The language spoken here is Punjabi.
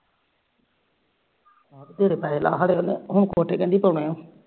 ਬਥੇਰੇ ਪੈਹੇ ਲਾਹ ਹੁਣ ਕੋਠੀ ਕਹਿੰਦੀ ਪਾਣੀ